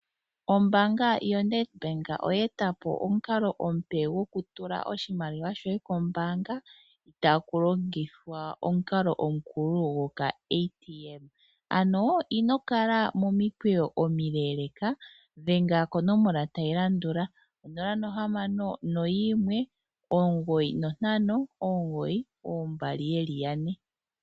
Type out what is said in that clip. Ombaanga yoNedBank oyeetapo omukalo gokutula shoye oshimaliwa kombaanga taku longithwa omukalo omukulu gokaATM. Ano ino kala momikweyo omileeleeka dhenga konomola tayi landula onola nohamano noyimwe omugoyi nontano omugoyi oombali yeli yane.